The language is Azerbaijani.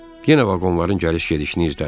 Yenə vaqonların gəliş-gedişini izlədi.